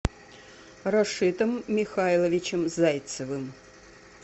рашитом михайловичем зайцевым